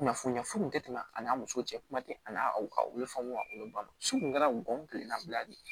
Kunnafoniya foyi kun te tɛmɛ an na muso cɛ kuma te a n'a aw be fɔ a olu be ban so kun kɛra gɔngɔn kelen nabila de ye